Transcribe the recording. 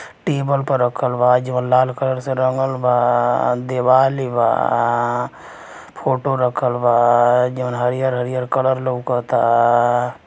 Table पर रखल बा जवन लाल कलर से रंगल बा। दिवालि बा। फोटो रखल बा जवन हरियर-हरियर कलर लउकता।